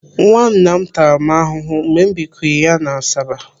Nwanna m tara m ahụhụ mgbe m binywre ya n'Asaba.